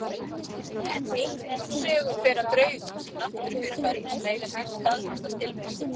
En engum sögum fer af draugum sem náttúrufyrirbærum sem eiga sér staðfesta tilvist.